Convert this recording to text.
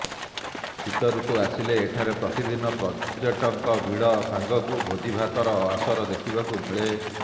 ଶୀତଋତୁ ଆସିଲେ ଏଠାରେ ପ୍ରତିଦିନ ପର୍ଯ୍ୟଟକଙ୍କ ଭିଡ ସାଙ୍ଗକୁ ଭୋଜିଭାତର ଆସର ଦେଖିବାକୁ ମିଳେ